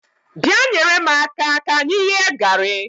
Bịa nyere m aka ka anyị ghee gari